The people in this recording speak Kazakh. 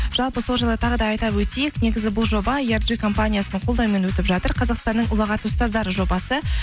жалпы сол жайлы тағы да айта өтейік негізі бұл жоба компаниясының қолдауымен өтіп жатыр қазақстанның ұлағатты ұстаздары жобасы